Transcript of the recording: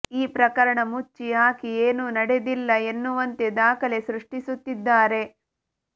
ಈ ಪ್ರಕರಣ ಮುಚ್ಚಿ ಹಾಕಿ ಏನೂ ನಡೆದಿಲ್ಲ ಎನ್ನುವಂತೆ ದಾಖಲೆ ಸೃಷ್ಟಿಸುತ್ತಿದ್ದಾರೆ